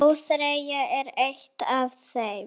ÓÞREYJA er eitt af þeim.